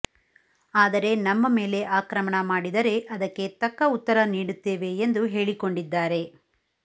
ಆದರೆ ನಮ್ಮ ಮೇಲೆ ಆಕ್ರಮಣ ಮಾಡಿದರೆ ಅದಕ್ಕೆ ತಕ್ಕ ಉತ್ತರ ನೀಡುತ್ತೇವೆ ಎಂದು ಹೇಳಿಕೊಂಡಿದ್ದಾರೆ